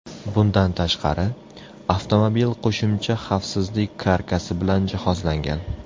Bundan tashqari, avtomobil qo‘shimcha xavfsizlik karkasi bilan jihozlangan.